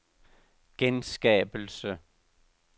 genskabelse